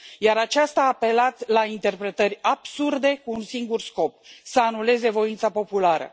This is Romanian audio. Iar aceasta a apelat la interpretări absurde, cu un singur scop să anuleze voința populară.